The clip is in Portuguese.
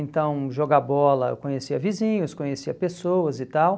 Então, jogar bola, eu conhecia vizinhos, conhecia pessoas e tal.